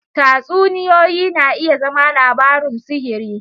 Tatsuniyoyi na iya zama labarun sihiri.